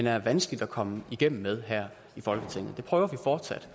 er vanskeligt at komme igennem med her i folketinget det prøver vi fortsat